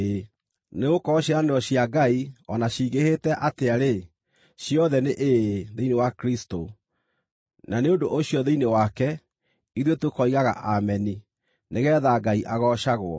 Nĩgũkorwo ciĩranĩro cia Ngai, o na cingĩhĩte atĩa-rĩ, ciothe nĩ “Ĩĩ” thĩinĩ wa Kristũ. Na nĩ ũndũ ũcio thĩinĩ wake, ithuĩ tũkoigaga “Ameni” nĩgeetha Ngai agoocagwo.